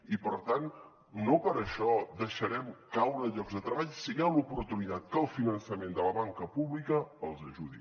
i per tant no per això deixarem caure llocs de treball si hi ha l’oportunitat que el finançament de la banca pública els ajudi